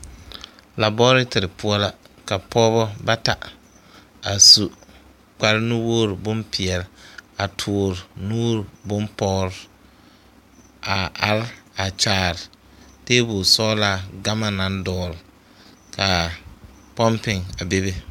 Labɔɔretere poɔ la pɔgebɔ bata a su kpare nuwogri bompeɛle a toɔre nu boŋ pɔgre a are a kyaare tebol sɔglaa gama naŋ dɔgle ka a pompi a bebe.